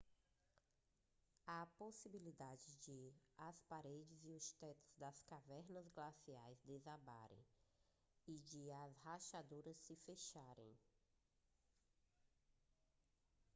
há a possibilidade de as paredes e os tetos das cavernas glaciais desabarem e de as rachaduras se fecharem